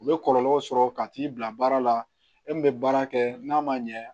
U bɛ kɔlɔlɔw sɔrɔ ka t'i bila baara la e min bɛ baara kɛ n'a ma ɲɛ